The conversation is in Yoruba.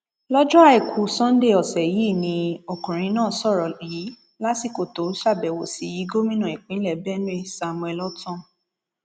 lọjọ àìkú sannde ọsẹ yìí ni ọkùnrin náà sọrọ yìí lásìkò tó ṣàbẹwò sí gómìnà ìpínlẹ benue samuel ortom